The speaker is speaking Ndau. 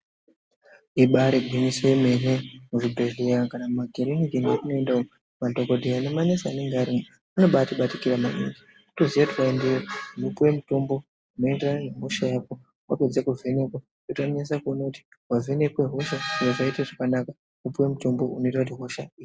Ibari gwinyiso yemene muzvidhehleya kana mumakiriniki matinoenda umu madhogodheya nemanesi anenga arimwo anobatikira maningi. Votoziya kuti ukaendeyo unopuve mutombo unoenderana nehosha yako. Vapedze kuvhenekwa vonyase kuona kuti vavhenekwa hosha yakaite zvakanaka vopiva mutombo unoita kuti hosha ipere.